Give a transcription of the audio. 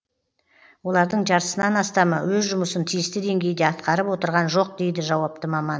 олардың жартысынан астамы өз жұмысын тиісті деңгейде атқарып отырған жоқ дейді жауапты маман